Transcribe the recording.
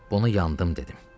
Buna yandım dedim.